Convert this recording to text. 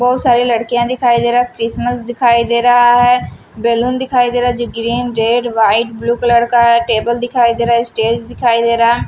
बहुत सारी लड़कियां दिखाई दे रहा है क्रिसमस दिखाई दे रहा है बैलून दिखाई दे रहा है जो green red white blue colour का है टेबल दिखाई दे रहा है स्टेज दिखाई दे रहा है ।